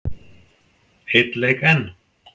Einn leik enn?